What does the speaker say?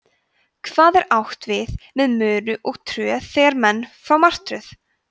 hvað er átt við með möru og tröð þegar menn fá martröð